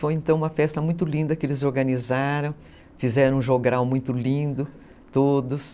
Foi então uma festa muito linda que eles organizaram, fizeram um jogral muito lindo, todos.